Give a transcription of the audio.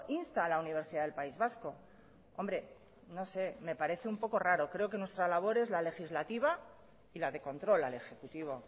insta a la universidad del país vasco hombre no sé me parece un poco raro creo que nuestra labor es la legislativa y la de control al ejecutivo